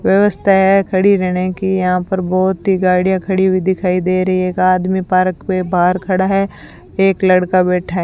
व्यवस्था है खड़ी रहने की यहां पर बहोत ही गाड़ियां खड़ी हुई दिखाई दे रही है एक आदमी पार्क में बाहर खड़ा है एक लड़का बैठा है।